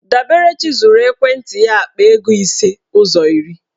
Daberechi zụrụ ekwentị ya akpa ego ise ụzọ iri.